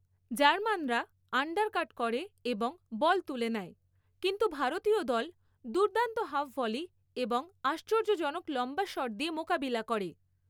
জার্মানরা undercut করে এবং বল তুলে নেয়, কিন্তু ভারতীয় দল দুর্দান্ত হাফ ভলি এবং আশ্চর্যজনক লম্বা শট দিয়ে মোকাবিলা করে।